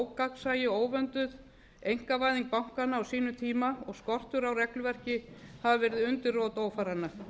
ógagnsæi og óvönduð einkavæðing bankanna á sínum tíma og skortur á regluverki hafi verið undirrót ófaranna